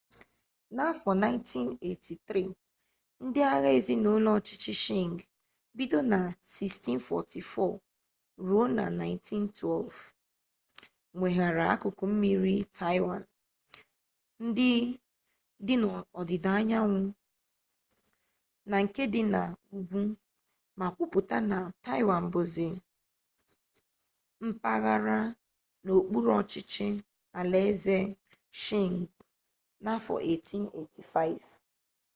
n'afọ 1683 ndị agha ezinụlọ ọchịchị shịng 1644-1912 weghaara akụkụ mmiri taịwan dị n'ọdịda anyanwụ na nke dị n'ugwu ma kwuputa na taịwan bụzi mpaghara n'okpuru ọchịchị alaeze shịng n'afọ 1885